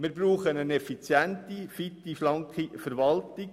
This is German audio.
Wir brauchen eine effiziente, fitte und schlanke Verwaltung.